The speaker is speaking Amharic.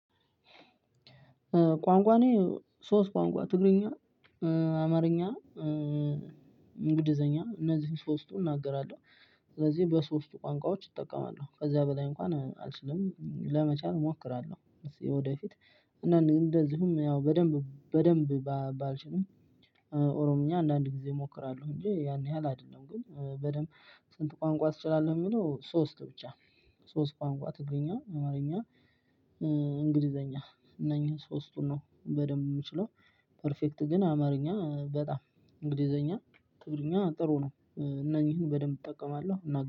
ቋንቋ እኔ ሶስት ቋንቋ ትግርኛ አማርኛ እንግሊዘኛ እነዚህን ሶስቱን እናገራለሁ። ስለዚህ በሶስቱ ቋንቋዎች እጠቀማለሁ ከዛ በላይ እንኳን አልችልም። ለመቻል እሞክራለሁ እስክ ወደፊት። እንደዚሁም ያው በደንብ በደንብ ባልችልም ኦሮምኛ አንዳንድ ጊዜ እሞክራለሁ። ሁሌ የን የህል አይደለም ግን በደምብ። ስንት ቋንቋ ትችላለህ? የሚለው ሶስት ብቻ። ሶስት ቋንቋ ትግርኛ አማርኛ እንግሊዘኛ እነኚህን ሶስቱን ነው በደንብ ምችለው። ፐርፌክት ግን አማርኛ በጣም እንግሊዝኛ እኛ ትግርኛ ጥሩ ነው እነኚህን በደንብ እጠቀማለሁ።